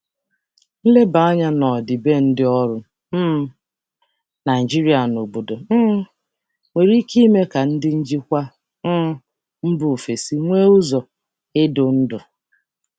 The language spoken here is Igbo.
Ilekwasị anya omenala ọrụ Naịjirịa na obodo nwere ike ịba ụba n'ụzọ ndu ndị njikwa si um mba ọzọ.